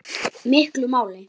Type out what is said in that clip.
miklu máli.